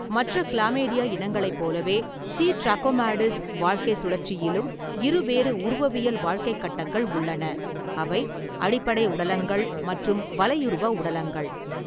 மற்ற கிளாமைடியா இனங்களைப் போலவே, சி. ட்ராகோமாடிஸ் வாழ்க்கைச் சுழற்சியிலும் இருவேறு உருவவியல் வாழ்க்கைக் கட்டங்கள் உள்ளன, அவை அடிப்படை உடலங்கள் மற்றும் வலையுருவ உடலங்கள்.